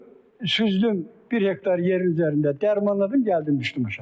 Süzdüm, bir hektar yer üzərində dərmanladım, gəldim düşdüm aşağı.